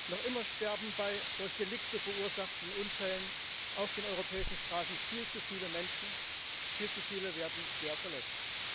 Noch immer sterben bei durch Delikte verursachten Unfällen auf den europäischen Straßen viel zu viele Menschen, viel zu viele werden schwer verletzt.